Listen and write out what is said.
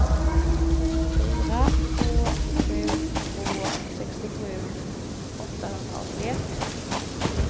fyra två sju två sextiosju åttahundraåttioett